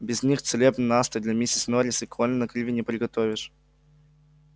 без них целебный настой для миссис норрис и колина криви не приготовишь